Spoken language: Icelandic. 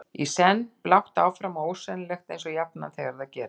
Í senn blátt áfram og ósennilegt eins og jafnan þegar það gerist.